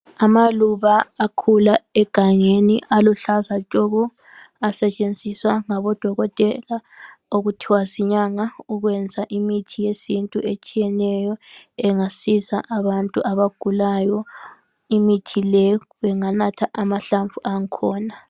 Amaluba akhula egangeni aluhlaza tshoko asetshenziswa ngabodokotela okutwha zinyanga ukwenza imithi yesintu etshiyeneyo engasiza abantu abagulayo imithi le benganatha amahlamvu angkhona.